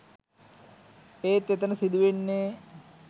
ඒත් එතන සිදු වෙන්නේ